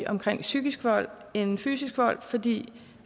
omkring psykisk vold end fysisk vold fordi